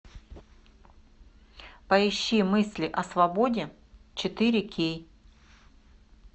поищи мысли о свободе четыре кей